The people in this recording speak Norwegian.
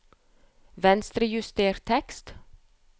Venstrejuster tekst